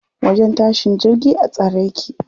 Wajen tashin jirgi a tsare yake.